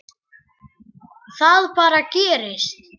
Það bara gerist.